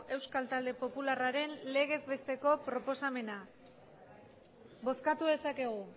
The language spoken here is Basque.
euskal talde popularraren legez besteko proposamena bozkatu dezakegu